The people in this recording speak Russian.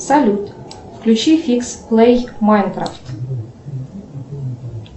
салют включи фикс плей майнкрафт